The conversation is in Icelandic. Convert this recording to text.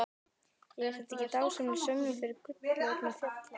Er þetta ekki dásamleg sönnun fyrir gullroða fjallanna?